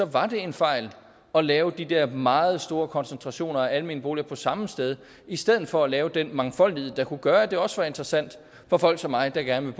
var en fejl at lave de der meget store koncentrationer af almene boliger på samme sted i stedet for at lave den mangfoldighed der kunne gøre at det også var interessant for folk som mig der gerne